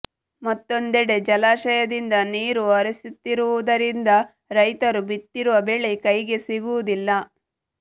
ಮತ್ತೊಂದೆಡೆ ಜಲಾಶಯದಿಂದ ನೀರು ಹರಿಸುತ್ತಿರುವುದರಿಂದ ರೈತರು ಬಿತ್ತಿರುವ ಬೆಳೆ ಕೈಗೆ ಸಿಗುವುದಿಲ್ಲ